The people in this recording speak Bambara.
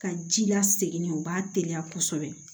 Ka ji lasegin u b'a teliya kosɛbɛ